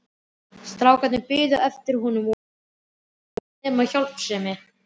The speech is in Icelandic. Strákarnir biðu eftir honum og voru nú ekkert nema hjálpsemin.